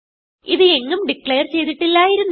ഇത് എങ്ങും ഡിക്ലേർ ചെയ്തിട്ടില്ലായിരുന്നു